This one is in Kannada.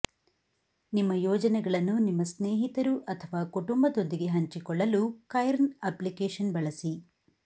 ನಿಮ್ಮ ಯೋಜನೆಗಳನ್ನು ನಿಮ್ಮ ಸ್ನೇಹಿತರು ಅಥವಾ ಕುಟುಂಬದೊಂದಿಗೆ ಹಂಚಿಕೊಳ್ಳಲು ಕೈರ್ನ್ ಅಪ್ಲಿಕೇಶನ್ ಬಳಸಿ